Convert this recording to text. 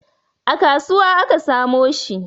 A kasuwa aka samo shi